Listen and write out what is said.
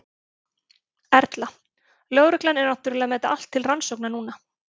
Erla: Lögreglan er náttúrulega með þetta allt saman til rannsóknar núna?